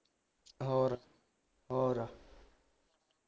ਹੋਰ ਹੋਰ